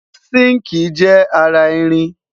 sinkii jé ará ìrìn